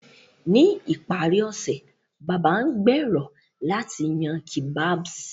Ní ìparí ọ̀sẹ̀, Baba ngbèrò láti yan kebabs.